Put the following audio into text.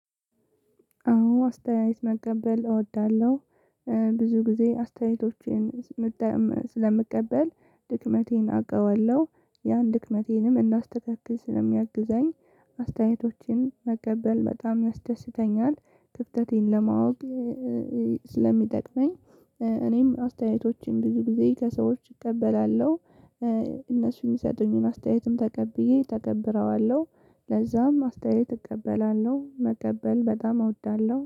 አወ አስተያየት መቀበል እወዳለሁ። ብዙ ጊዜ አስተያየቶችን ስለምቀበል ድክመቴን አውቀዋለሁ ያን ድክመቴንም እናዳስተካክል ስለሚያግዘኝ። አስተያየቶችን መቀበል በጣም ያስደስተኛል ክፍተቴን ለማወቅ ስለሚጠቅመኝ። እኔም አስተያየቶችን ብዙ ጊዜ ከሰዎች እቀበላለሁ። እነሱን የሚሰጠኝን አስተያየትም ተቀብዬ እተገብረዋለሁ። ለዛም አስተያየት እቀበላለሁ መቀበል በጣም አወዳለሁ